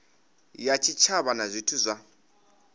ya tshitshavha na zwithu zwa